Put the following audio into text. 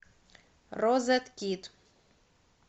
розеткид